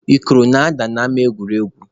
Ikoro na-ada n'ama egwuregwu.